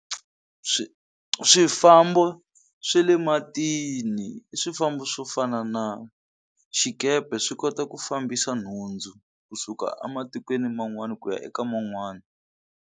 Swifambo swe le matini i swifambo swo fana na xikepe swi kota ku fambisa nhundzu kusuka a matikweni man'wana ku ya eka man'wani.